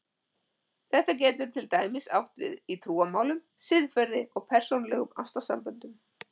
Þetta getur til dæmis átt við í trúmálum, siðferði, og persónulegum ástarsamböndum.